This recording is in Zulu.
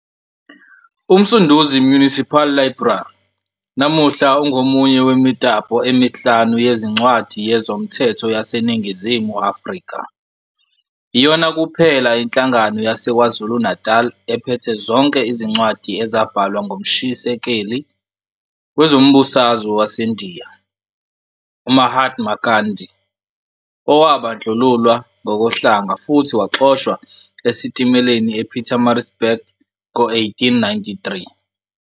UMsunduzi Municipal Library namuhla ungomunye wemitapo emihlanu yezincwadi yezomthetho yaseNingizimu Afrika. Iyona kuphela inhlangano yaseKwaZulu-Natal ephethe zonke izincwadi ezabhalwa ngumshisekeli wezombusazwe waseNdiya UMahatma Gandhi, owabandlululwa ngokohlanga futhi waxoshwa esitimeleni ePietermaritzburg ngo-1893.